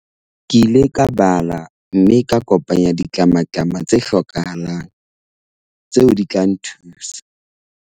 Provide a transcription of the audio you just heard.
Ke ile ka bala mme ka kopanya ditlamatlama tse hlokahalang tseo di tla nthusa.